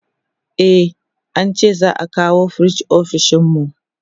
e an ce za'a kawo firij ofishinmu